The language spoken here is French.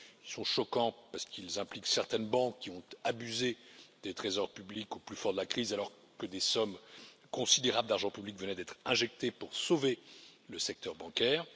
Ils sont choquants parce qu'ils impliquent certaines banques qui ont abusé des trésors publics au plus fort de la crise, alors que des sommes considérables d'argent public venaient d'être injectées pour sauver le secteur bancaire.